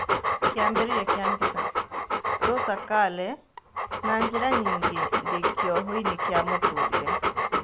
Kĩambĩrĩria kĩa mbica, Rosa Kale "Na-njĩra nyingĩ, ndĩ kĩohoinĩ kĩa mũtũrĩre."